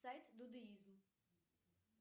сайт дудеизм